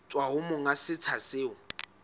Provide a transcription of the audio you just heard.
tswa ho monga setsha seo